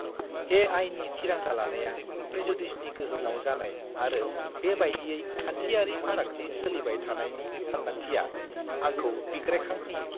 ए.आइ.नि थिरांथा लानाया प्रेजुडिसनि गोहोमाव जानाय आरो बेबायदियै खान्थियारि फारागथि सोलिबाय थानायनि सानदांथिया, आंखौ बिग्रायखांहोयो!